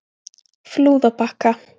Flúðabakka